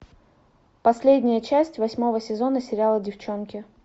последняя часть восьмого сезона сериала девчонки